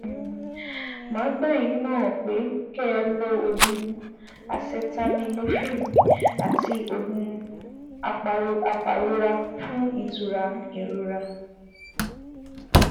Màá gbà yín nímọ̀ràn pé kẹ́ ẹ lo oògùn Acetaminophen àti oògùn apàrora fún ìtura ìrora